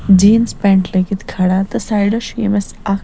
jeans pant .لٲگِتھ کھڑا تہٕ سایڈس چُھ ییٚمِس اکھ